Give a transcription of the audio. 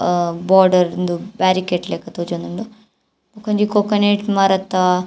ಅಹ್ border ಉಂದು barricade ಲಕ ತೋಜೊಂದುಂಡು ಬೊಕ ಒಂಜಿ ಕೊಕನೇಟ್ ಮರತ --